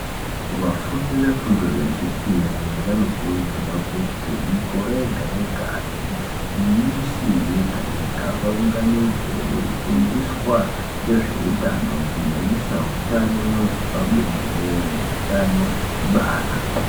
Vafundi vefundo yechipiri vanokurudzirwa kuti mikore yega yega nemisi yega yega vaunganidzwe veifundiswa ngezveutano kunyanyisa hutano hwepabonde neutano hwekubara.